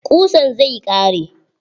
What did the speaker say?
Ƙusan zai ƙare.